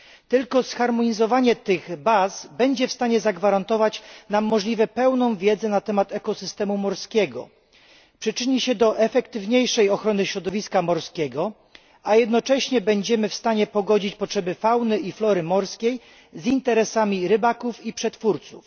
Tylko zharmonizowanie tych baz będzie w stanie zagwarantować nam możliwie pełną wiedzę na temat ekosystemu morskiego. Przyczyni się do skuteczniejszej ochrony środowiska morskiego, a jednocześnie będziemy w stanie pogodzić potrzeby fauny i flory morskiej z interesami rybaków i przetwórców.